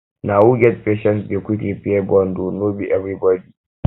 na who get patience dey quick repair bond o no be everybodi